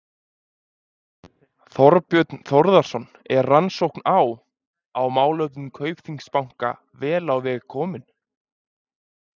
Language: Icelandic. Þorbjörn Þórðarson: Er rannsókn á, á málefnum Kaupþings banka vel á veg komin?